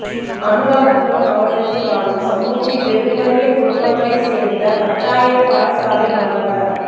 அநுராதபுரம் மாவட்டத்தில் வாழும் சமுர்த்தி பெறும் வறிய குடும்பங்களைச் சேர்ந்த பத்தாயிரம் பாடசாலை மாணவ